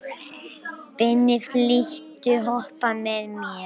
Binni, viltu hoppa með mér?